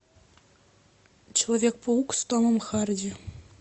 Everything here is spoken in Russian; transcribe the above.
человек паук с томом харди